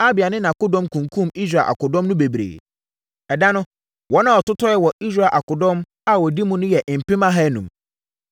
Abia ne nʼakodɔm kunkumm Israel akodɔm no bebree. Ɛda no, wɔn a wɔtotɔɔɛ wɔ Israel akodɔm a wɔdi mu no yɛ mpem ahanum.